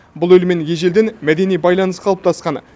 бұл елмен ежелден мәдени байланыс қалыптасқан